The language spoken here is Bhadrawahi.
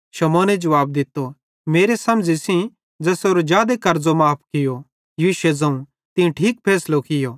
शमौने जुवाब दित्तो मेरे समझ़ी सेइं त ज़ेसेरो जादे कर्ज़ो माफ़ कियूं यीशुए ज़ोवं तीं ठीक फैसलो कियो